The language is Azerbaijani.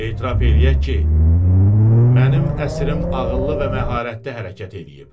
Etiraf eləyək ki, mənim əsrim ağıllı və məharətli hərəkət eləyib.